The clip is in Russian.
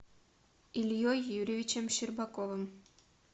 ильей юрьевичем щербаковым